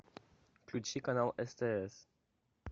включи канал стс